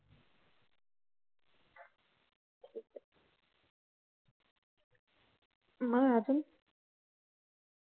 मग अजून